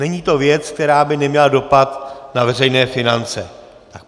Není to věc, která by neměla dopad na veřejné finance.